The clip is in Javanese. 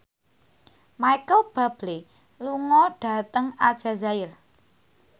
Micheal Bubble lunga dhateng Aljazair